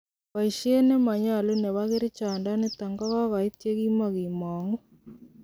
Boisiet nemonyol nebo kerichondonit kogogoit ye kimongimonguu.